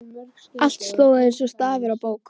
Allt stóð eins og stafur á bók.